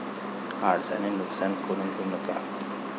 आळसाने नुकसान करून घेऊ नका.